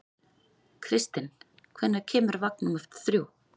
Kristinn, hvenær kemur vagn númer þrjú?